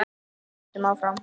Við sigldum áfram.